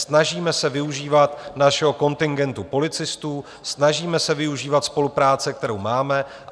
Snažíme se využívat našeho kontingentu policistů, snažíme se využívat spolupráce, kterou máme.